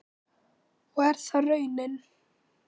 Og er það raunin?